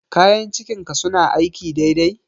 Kayan cikin ka suna aiki dai dai?